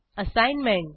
assignment